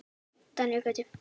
Daníel Gauti.